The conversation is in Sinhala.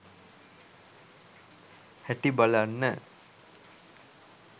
හැටි බලන්න